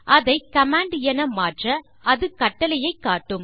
அதை கமாண்ட் என மாற்ற அது கட்டளையை காட்டும்